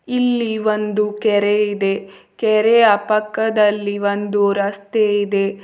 ಇಲ್ಲಿ ಒಂದು ಕೆರೆ ಇದೆ ಕೆರಯ ಪಕ್ಕದಲ್ಲಿ ಒಂದು ರಸ್ತೆ ಇದೆ.